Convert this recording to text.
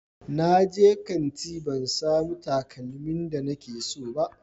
Na je kanti ban samu takalmin da nike so ba